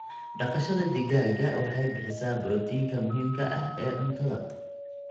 Dhaqashada digaaga waxay bixisaa borotiinka muhiimka ah ee cuntada.